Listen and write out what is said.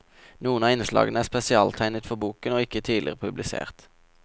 Noen av innslagene er spesialtegnet for boken og ikke tidligere publisert.